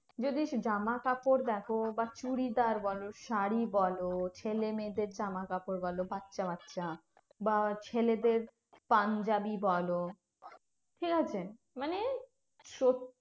যদি জামাকাপড় দেখো বা চুড়িদার বলো, শাড়ী বলো, ছেলেমেয়েদের জামাকাপড় বলো, বাচ্চা বাচ্চা বা ছেলেদের পাঞ্জাবি বলো, ঠিকাছে? মানে সত্যি